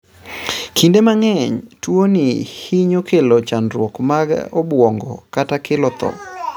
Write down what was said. Kinde mang'eny, tuwoni hinyo kelo chandruoge mag obwongo kata kelo tho.